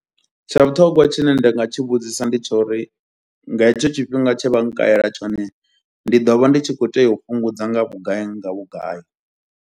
Tsha vhuṱhongwa tshine nda nga tshi vhudzisa ndi tsho uri nga hetsho tshifhinga tshe vha nkalela tshone ndi ḓo vha ndi tshi khou tea u fhungudza nga vhugai, nga vhugai.